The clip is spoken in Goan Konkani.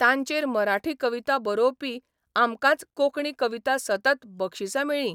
तांचेर मराठी कविता बरोवपी आमकांच कोंकणी कविता सतत बक्षिसां मेळ्ळीं.